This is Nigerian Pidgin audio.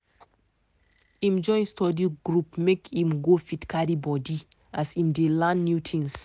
im join study group make im go fit carry body as im dey learn new thing.